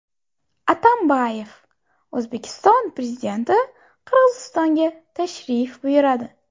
Atambayev: O‘zbekiston Prezidenti Qirg‘izistonga tashrif buyuradi .